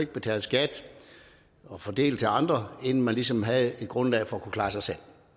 betale skat og fordele til andre inden man ligesom havde et grundlag for at kunne klare sig selv